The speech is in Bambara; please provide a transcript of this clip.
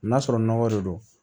N'a sɔrɔ nɔgɔ de don